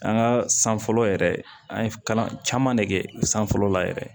An ka san fɔlɔ yɛrɛ an ye kalan caman ne kɛ san fɔlɔ la yɛrɛ